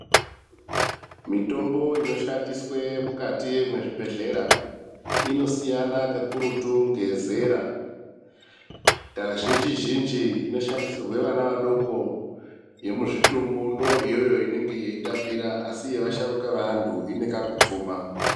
Mitombo ino shandiswe mukati mwezvi bhedhlera ino siyana ka kururutu ngezera ka zhinji zhinji ino shandisirwe vana vadoko ye muzvitumbu ndo iyoyo inenge yei tapira asi yeva sharuka ve antu ine kaku tsuma.